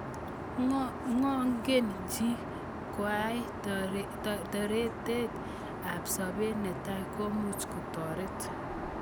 Ngongen chi koai torete ab sabet netai komuch kotoret.